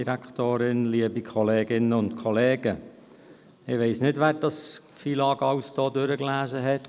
Ich weiss nicht, wer das FILAG durchgelesen hat.